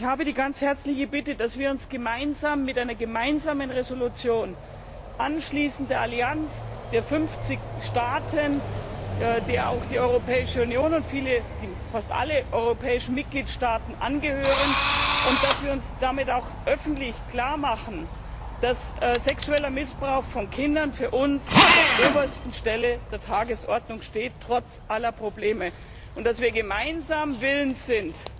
Ich habe die ganz herzliche Bitte, dass wir uns gemeinsam, mit einer gemeinsamen Entschließung, der Allianz anschließen, der 50 Staaten, auch die Europäische Union und fast alle europäischen Mitgliedstaaten, angehören, und dass wir damit auch öffentlich klar machen, dass sexueller Missbrauch von Kindern für uns an der obersten Stelle der Tagesordnung steht trotz aller Probleme und dass wir gemeinsam willens sind,